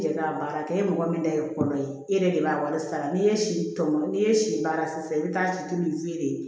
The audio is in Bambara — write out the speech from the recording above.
I yɛrɛ k'a baara kɛ e mɔgɔ min ta ye kɔrɔ ye e yɛrɛ de b'a wari sara n'i ye si tɔmɔ n'i ye si baara sisan i bɛ taa sito ni feere ye